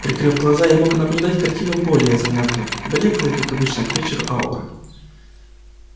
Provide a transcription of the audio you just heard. прикрыв глаза я мог наблюдать картину более занятную блёклые как обычно к вечеру ауры